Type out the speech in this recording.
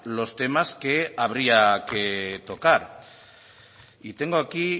los temas que habría que tocar y tengo aquí